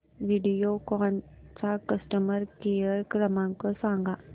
व्हिडिओकॉन चा customer care क्रमांक सांगा